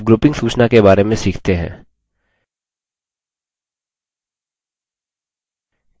अब grouping सूचना के बारे में सीखते हैं